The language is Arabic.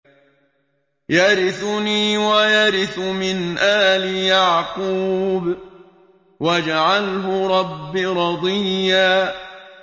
يَرِثُنِي وَيَرِثُ مِنْ آلِ يَعْقُوبَ ۖ وَاجْعَلْهُ رَبِّ رَضِيًّا